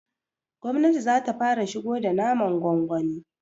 gwamnati zata fara shigo da naman gwangwani